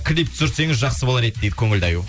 клип түсірсеңіз жақсы болар еді дейді көңілді аю